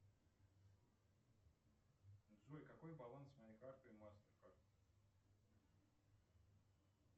джой какой баланс моей карты мастеркард